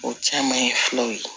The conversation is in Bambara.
O caman ye filaw ye